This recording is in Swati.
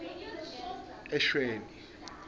eshweni